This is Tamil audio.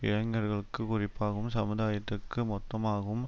இளைஞர்களுக்கு குறிப்பாகவும் சமுதாயத்திற்கு மொத்தமாகவும்